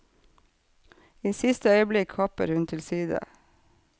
I siste øyeblikk hopper hun til side.